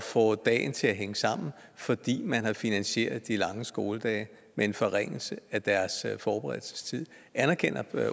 få dagen til at hænge sammen fordi man har finansieret de lange skoledage med en forringelse af deres forberedelsestid anerkender